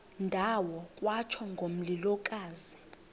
ndawo kwatsho ngomlilokazi